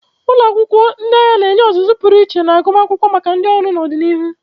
Ụlọ akwụkwọ ndị agha na-enye ọzụzụ pụrụ iche na agụmakwụkwọ maka ndị ọrụ n'ọdịnihu.